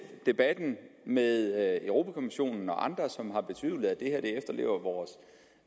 debatten med europa kommissionen og andre som har betvivlet at det her efterlever vores